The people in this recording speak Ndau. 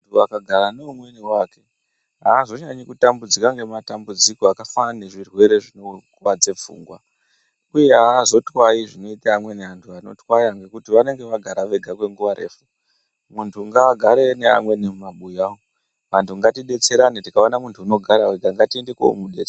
Muntu agara neumweniwo akhiti aazonyanyi kutambudzika nematambudziko akafanana nezvirwere zvinokuwadze pfungwa, uye aazotwayi zvinoita amweni antu anorwara ngekuti vanenge vagara vega kwenguva refu. Muntu ngaagare neamweni mumabuya umu. Vantu ngatidetserane, tikaona muntu unogara ega ngatiende koomudetse...